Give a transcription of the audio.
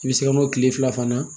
I bɛ se ka n'o tile fila fana